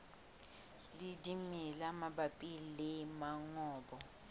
le dimela mabapi le mongobo